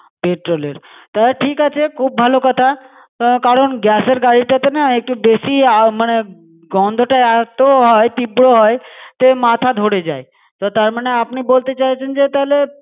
Petrol -এর, তাহলে ঠিক আছে। খুব ভালো কথা কারণ, gas এর গাড়িটা তে না একটু বেশি আ~ মানে~ গন্ধটা এতো হয় তীব্র হয়, যে মাথা ধরে যায়। তার মানে আপনি বলতে চাইছেন যে তালে।